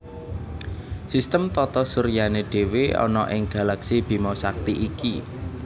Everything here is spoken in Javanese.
Sistem tata suryané dhéwé ana ing galaksi Bima Sakti iki